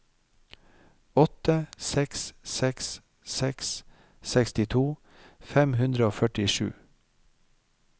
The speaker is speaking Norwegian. åtte seks seks seks sekstito fem hundre og førtisju